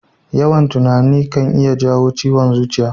Yawan tunani kan iya jawo ciwon zuciya.